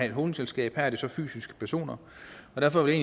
et holdingselskab her er det så fysiske personer og derfor vil